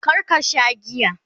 kar ka Sha giya!